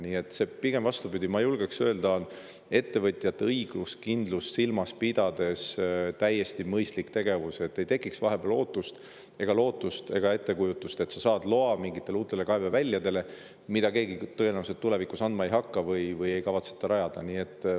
Nii et see, pigem vastupidi, ma julgeksin öelda, on ettevõtjate õiguskindlust silmas pidades täiesti mõistlik tegevus, sest siis ei teki vahepeal ootust, lootust ega ettekujutust, et sa saad loa mingite uute kaeveväljade jaoks, mida keegi tulevikus sulle andma tõenäoliselt ei hakka või mida ei kavatseta rajada.